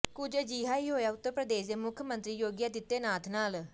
ਕੁਝ ਅਜਿਹਾ ਹੀ ਹੋਇਆ ਉੱਤਰ ਪ੍ਰਦੇਸ਼ ਦੇ ਮੁੱਖ ਮੰਤਰੀ ਯੋਗੀ ਆਦਿੱਤਿਆਨਾਥ ਨਾਲ